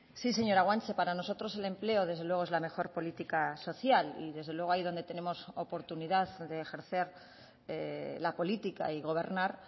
sí señora guanche para nosotros el empleo desde luego es la mejor política social y desde luego ahí donde tenemos oportunidad de ejercer la política y gobernar